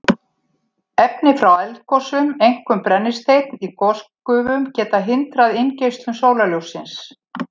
Efni frá eldgosum, einkum brennisteinn í gosgufum, geta hindrað inngeislun sólarljóssins.